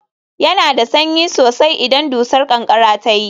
Yana da sanyi sosai idan dusar ƙanƙara ta yi